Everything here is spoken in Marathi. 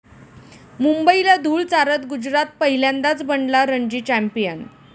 मुंबईला धुळ चारत गुजरात पहिल्यांदाच बनला रणजी चॅम्पियन